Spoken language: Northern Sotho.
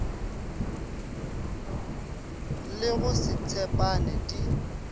le go se tshepane di